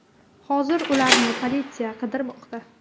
Hozir ularni politsiya qidirmoqda.